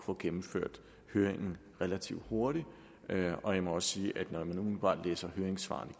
få gennemført høringen relativt hurtigt og jeg må sige at når man umiddelbart læser høringssvarene